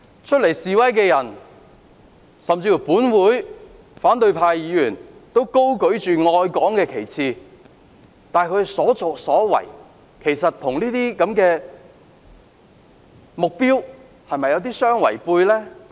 出來示威的人，甚至本會的反對派議員均高舉愛港的旗幟，但他們的所作所為，是否與這相違背？